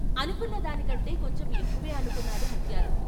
అనుకున్న దానికంటే కొంచెం ఎక్కువే అనుకున్నాడు ముత్యాలు.